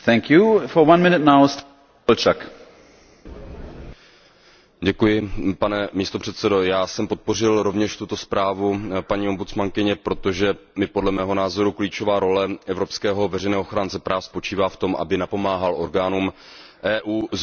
Pane předsedající, já jsem podpořil rovněž tuto zprávu paní ombudsmanky, protože, podle mého názoru, klíčová role evropského veřejného ochránce práv spočívá v tom, aby napomáhal orgánům Evropské unie zvyšovat míru jejich otevřenosti, účinnosti a vstřícnosti k občanům, v důsledku čehož